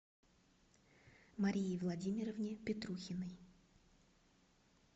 марии владимировне петрухиной